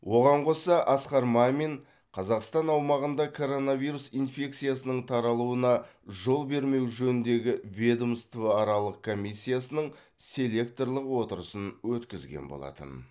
оған қоса асқар мамин қазақстан аумағында коронавирус инфекциясының таралуына жол бермеу жөніндегі ведомствоаралық комиссиясының селекторлық отырысын өткізген болатын